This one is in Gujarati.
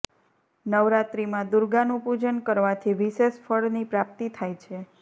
નવરાત્રિમાં દુર્ગાનું પૂજન કરવાથી વિશેષ ફળની પ્રાપ્તિ થાય છે